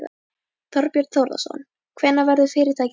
Þorbjörn Þórðarson: Hvenær verður fyrirtækið selt?